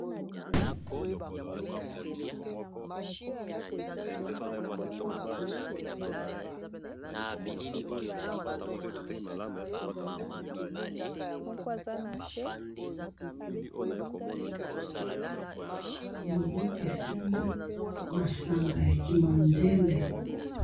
Loboko esimbi masanga ya ki mondele.